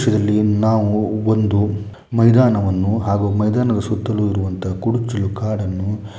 ನಾವು ಒಂದು ಮೈದಾನವನ್ನು ಹಾಗೂ ಮೈದಾನದ ಸುತ್ತಲೂ ಇರುವಂತಹ ಕುರುಚಲು ಕಾಡನ್ನು --